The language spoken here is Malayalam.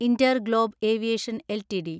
InterGlobe Aviation LTD